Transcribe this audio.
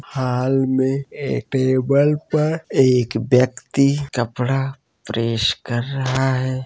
हाल में ए-टेबल पर एक व्यक्ति कपड़ा प्रेस कर रहा है।